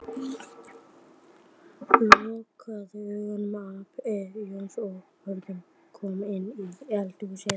Lokaðu augunum æpti Jónsi þegar Örn kom inn í eldhúsið.